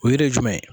O yɛrɛ ye jumɛn ye